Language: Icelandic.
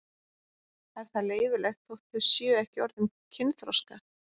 Er það leyfilegt þótt þau séu ekki orðin kynþroska?